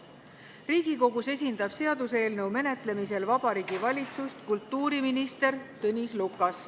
Riigikogus esindab seaduseelnõu menetlemisel Vabariigi Valitsust kultuuriminister Tõnis Lukas.